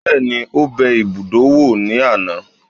Bẹ́ẹ̀ni, ó bẹ ibùdó wò ní àná